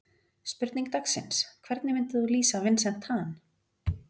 Spurning dagsins: Hvernig myndir þú lýsa Vincent Tan?